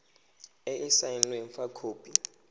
e e saenweng fa khopi